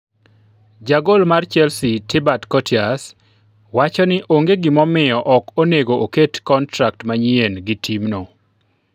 Jagol mar Chelsea, Thibaut Courtois, wacho ni onge gimomiyo ok onego oket kontrak manyien gi timno.